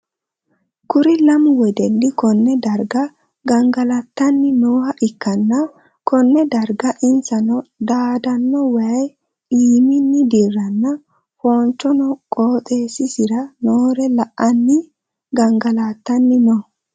Kuri lamu wedeli konne darga gangalatanni nooha ikanna konne darga insano daadano wayi iiminni dirano foonchonna qooxeesisira noore la'anni gangalatanni no.